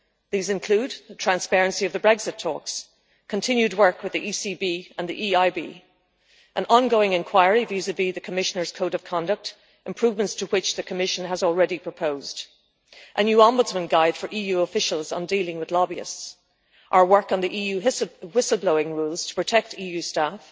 These include the transparency of the Brexit talks, continued work with the ECB and the EIB, an ongoing inquiry vis-à vis the Commissioners' Code of Conduct, improvements to which the Commission has already proposed, a new Ombudsman's guide for EU officials on dealing with lobbyists, our work on the EU whistle-blowing rules to protect EU staff,